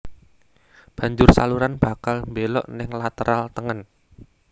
Banjur saluran bakal mbelok ning lateral tengen